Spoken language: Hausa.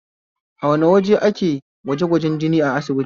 A wane waje ake gwajegwajen jini a asibiti?